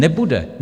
Nebude.